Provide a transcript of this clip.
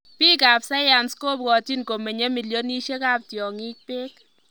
Piik ap.sayans kopwotchin komenyei millionishek ap tyongik peek